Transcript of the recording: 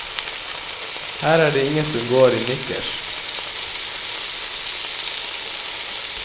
Her er det ingen som går i nikkers.